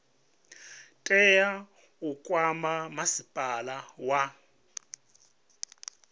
tea u kwama masipala wa